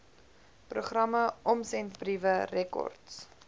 programme omsendbriewe rekords